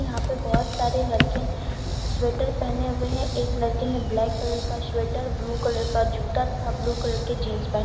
यहां पे बहोत सारे लड़के स्वेटर पहने हुए हैं एक लड़के ने ब्लैक कलर का स्वेटर ब्लू कलर का जूता तथा ब्लू कलर के जींस पहने--